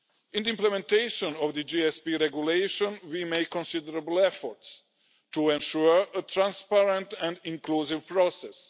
In the implementation of the GSP Regulation, we make considerable efforts to ensure a transparent and inclusive process.